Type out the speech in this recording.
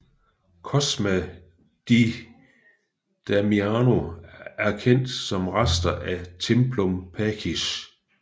Cosma e Damiano erkendt som rester af Templum Pacis